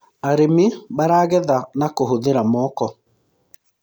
arĩmi maragetha na kuhuthira moko